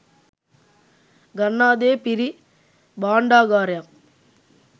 ගන්නා දේ පිරි භාණ්ඩාගාරයක්